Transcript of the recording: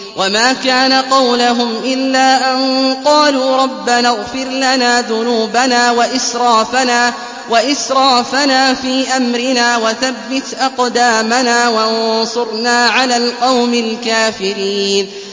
وَمَا كَانَ قَوْلَهُمْ إِلَّا أَن قَالُوا رَبَّنَا اغْفِرْ لَنَا ذُنُوبَنَا وَإِسْرَافَنَا فِي أَمْرِنَا وَثَبِّتْ أَقْدَامَنَا وَانصُرْنَا عَلَى الْقَوْمِ الْكَافِرِينَ